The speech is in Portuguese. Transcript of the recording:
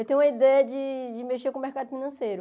Eu tenho uma ideia de de mexer com o mercado financeiro.